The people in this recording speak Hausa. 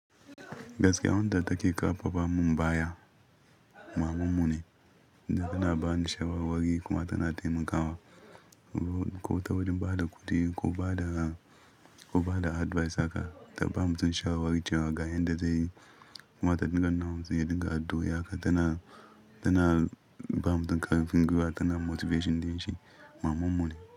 Gaskiya, wanda take karfafa mun baya maman mu ne, tunda tana bani shawarwari kuma tana taimakawa. Ko ta wajen ba da kuɗi ko ba da, ko ba da advice haka, ta ba mutun shawarwari cewa ga yanda zai yi. Kuma ta dinga nuna mutun ya dinga addu'oi haka tana, tana ba mutun ƙarfin gwuiwa, tana motivation din shi, mamanmu ne.